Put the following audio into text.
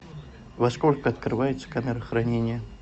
во сколько открывается камера хранения